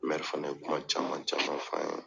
fana ye kuma caman caman f'an ye